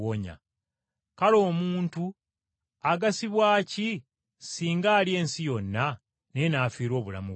Kale omuntu agasibwa ki singa alya ensi yonna, naye n’afiirwa obulamu bwe?